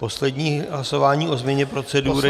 Poslední hlasování o změně procedury.